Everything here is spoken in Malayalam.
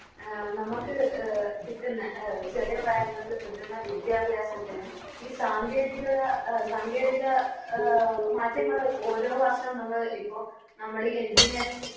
അഹ് നമുക്ക് എ കിട്ടുന്ന ചെറിയ പ്രായം മുതല് കിട്ടുന്ന വിദ്യാഭ്യാസത്തിനും ഈ സാങ്കേതികത എ സാങ്കേതിക എ മാറ്റങ്ങള് ഓരോ വർഷോം നമ്മള് ഇപ്പൊ നമ്മളീ Engineering